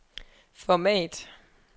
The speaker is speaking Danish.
format